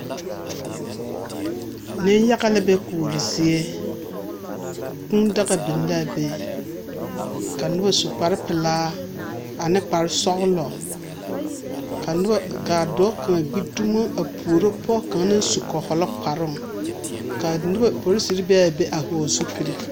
Neŋ-yaga la be kuori zie. Kũũ daga biŋ la a be, ka noba su kpare pelaa, ane kparesɔglɔ, ka noba ka a dɔɔ kaŋa gbi dumo a puro pɔge kaŋa naŋ su kɔhɔlɔ kparoŋ, ka noba porisiri be a be a hɔgle zupil.